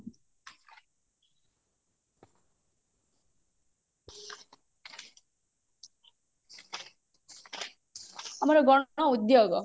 ଆମର ଗଣ ଉଦ୍ଯୋଗ